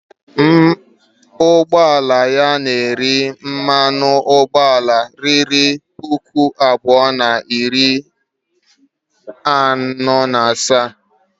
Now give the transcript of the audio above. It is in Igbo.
Ụgbọ ala ya na-eri mmanụ ụgbọala ruru puku abụọ na narị naịra asaa